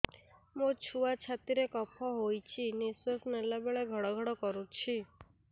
ମୋ ଛୁଆ ଛାତି ରେ କଫ ହୋଇଛି ନିଶ୍ୱାସ ନେଲା ବେଳେ ଘଡ ଘଡ କରୁଛି